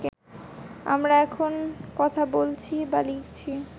আমরা এখন কথা বলছি বা লিখছি